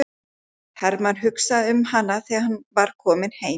Hermann hugsaði um hana þegar hann var kominn heim.